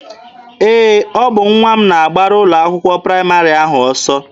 Ee, ọ bụ nwa m na-agbara ụlọ akwụkwọ praịmarị ahụ ọsọ.